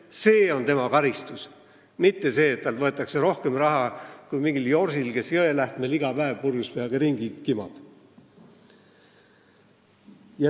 See on tema karistus, mitte see, et talt võetakse rohkem raha kui mingilt jorsilt, kes Jõelähtmel iga päev purjus peaga ringi kimab.